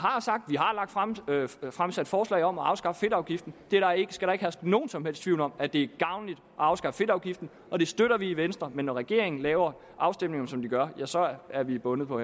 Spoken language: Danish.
har fremsat forslag om at afskaffe fedtafgiften der skal ikke herske nogen som helst tvivl om at det gavnligt at afskaffe fedtafgiften og det støtter vi i venstre men når regeringen laver afstemningerne som de gør så er vi bundet på